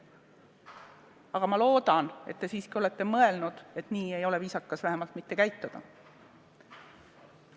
Aga ma loodan, et te siiski olete mõelnud, et nii ei ole viisakas käituda.